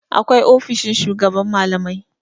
Akwai ofishin shugaban malamai.